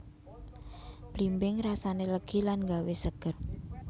Blimbing rasané legi lan nggawé seger